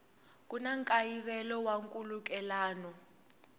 ku na nkayivelo wa nkhulukelano